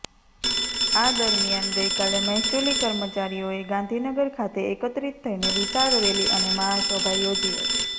આ દરમિયાન ગઈકાલે મહેસુલી કર્મચારીઓએ ગાંધીનગર ખાતે એકત્રિત થઈને વિશાળ રેલી અને મહાસભા યોજી હતી